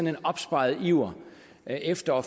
en opsparet iver efter at